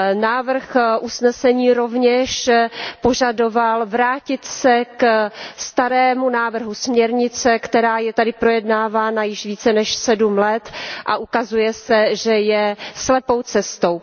Návrh usnesení rovněž požadoval vrátit se ke starému návrhu směrnice, která je tady projednávána již více než sedm let, a ukazuje se, že je slepou cestou.